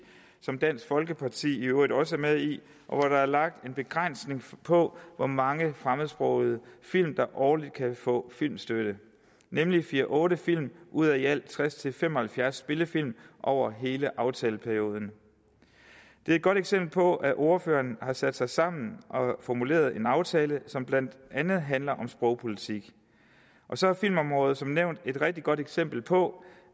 som dansk folkeparti i øvrigt også er med i hvor der er lagt en begrænsning på hvor mange fremmedsprogede film der årligt kan få filmstøtte nemlig fire otte film ud af i alt tres til fem og halvfjerds spillefilm over hele aftaleperioden det er et godt eksempel på at ordførerne har sat sig sammen og formuleret en aftale som blandt andet handler om sprogpolitik og så er filmområdet som nævnt et rigtig godt eksempel på